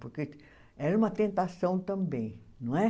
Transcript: Porque era uma tentação também, não é?